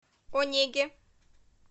онеге